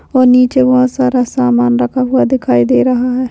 वो नीचे बहुत सारा सामान रखा हुआ दिखाई दे रहा है।